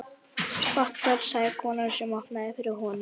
Gott kvöld sagði konan sem opnaði fyrir honum.